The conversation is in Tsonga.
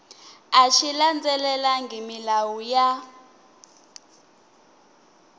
a xi landzelelangi milawu ya